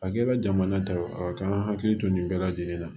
A kɛra jamana ta ye a ka hakili to nin bɛɛ lajɛlen na